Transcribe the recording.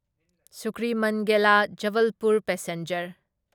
ꯁꯨꯀ꯭ꯔꯤꯃꯟꯒꯦꯂꯥ Jabalpur passenger